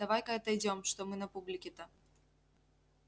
давай-ка отойдём что мы на публике-то